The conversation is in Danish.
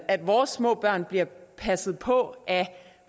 at vores små børn bliver passet på af